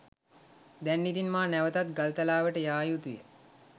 දැන් ඉතින් මා නැවතත් ගල්තලාවට යා යුතුය.